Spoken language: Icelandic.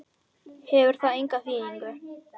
Hefur það enga þýðingu?